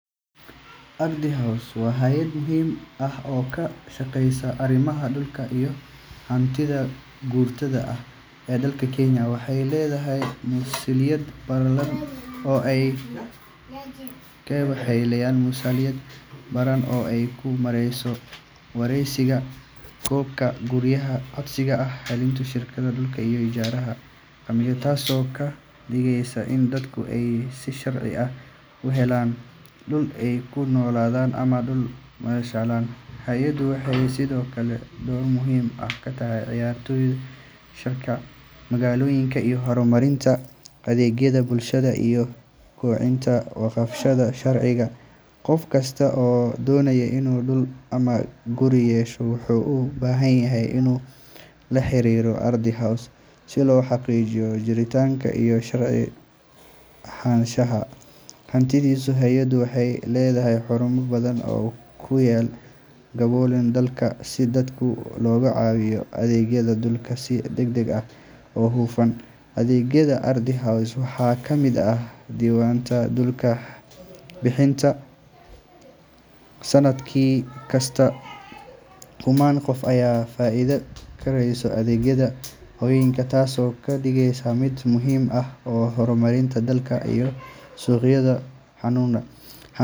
Ardhi House waa hay’ad muhiim ah oo ka shaqeysa arrimaha dhulka iyo hantida maguurtada ah ee dalka Kenya. Waxay leedahay masuuliyad ballaaran oo ay ku maareyso diiwaangelinta, bixinta, iyo ilaalinta xuquuqda dhulka iyo guryaha. Ardhi House waxay fududeysaa habka codsiga iyo helitaanka shatiyada dhulka, ijaarka, iyo milkiyadda, taasoo ka dhigaysa in dadka ay si sharci ah ugu helaan dhul ay ku noolaadaan ama ku maalgashadaan. Hay’addu waxay sidoo kale door muhiim ah ka ciyaartaa qorsheynta magaalooyinka iyo horumarinta adeegyada bulshada iyada oo ilaalinaysa in hantida dhulka loo qaybiyo si caddaalad ah oo waafaqsan sharciga. Qof kasta oo doonaya inuu dhul ama guri yeesho wuxuu u baahan yahay inuu la xiriiro Ardhi House si loo xaqiijiyo jiritaanka iyo sharci ahaanshaha hantidaas. Hay’addu waxay leedahay xarumo badan oo ku yaal gobollada dalka si dadka looga caawiyo adeegyada dhulka si degdeg ah oo hufan. Adeegyada Ardhi House waxaa ka mid ah diiwaangelinta dhulka, bixinta shatiga dhismaha, iyo warbixinta khariidadda. Sanad kasta, kumanaan qof ayaa ka faa’iideysta adeegyada hay’addan taasoo ka dhigaysa mid muhiim u ah horumarinta dalka iyo sugidda xuquuqda hantida.